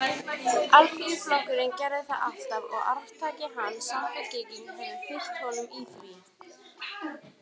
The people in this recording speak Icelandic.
Alþýðuflokkurinn gerði það alltaf og arftaki hans, Samfylkingin, hefur fylgt honum í því.